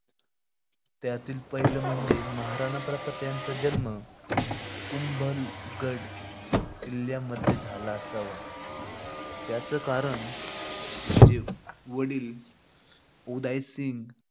त्यातील पहिलं म्हणजे महाराणा प्रताप यांचा जन्म कुंभलगड किल्ल्यामध्ये झाला असावा याचं कारण म्हणजे वडील उदाईसिंग